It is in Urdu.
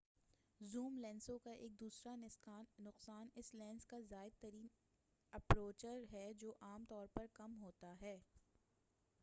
زوم لینسوں کا ایک دوسرا نقصان اسکے لینس کا زائد ترین اپرچر رفتار ہے جو عام طور پر کم ہوتا ہے-